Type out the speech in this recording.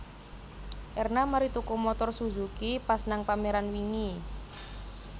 Erna mari tuku montor Suzuki pas nang pameran wingi